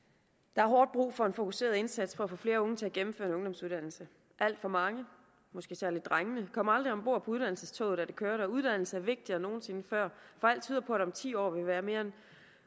der er hårdt brug for en fokuseret indsats for at få flere unge til at gennemføre en ungdomsuddannelse alt for mange måske særlig drengene kom aldrig om bord på uddannelsestoget da det kørte og uddannelse er vigtigere end nogen sinde før for alt tyder på at der om ti år vil være